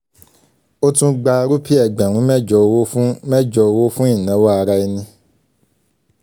ó tún ggba rúpì ẹgbẹ̀rún mẹ́jọ owó fún mẹ́jọ owó fún ìnáwó ara ẹni.